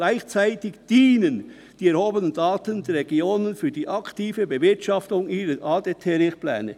Gleichzeitig dienen die erhobenen Daten den Regionen für die aktive Bewirtschaftung ihrer ADT-Richtpläne.